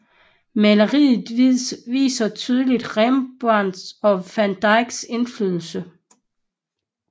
Maleriet viser tydeligt Rembrandts og van Dycks indflydelse